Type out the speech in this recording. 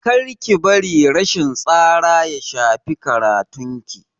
Kar ki bari matsin tsara ya shafi karatun ki.